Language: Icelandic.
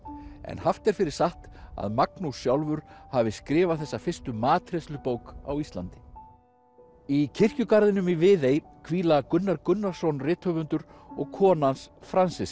en haft er fyrir satt að Magnús sjálfur hafi skrifað þessa fyrstu matreiðslubók á Íslandi í kirkjugarðinum í Viðey hvíla Gunnar Gunnarsson rithöfundur og kona hans